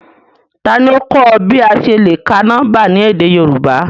Tani o kọ ọ bi a ṣe le ka nọmba ni édé Yorùbá?